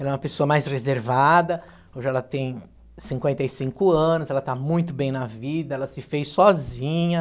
Ela é uma pessoa mais reservada, hoje ela tem cinquenta e cinco anos, ela está muito bem na vida, ela se fez sozinha.